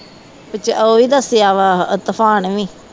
ਸੱਚ ਉਹ ਵੀ ਦੱਸਿਆ ਵਾ ਤੂਫਾਨ ਵੀ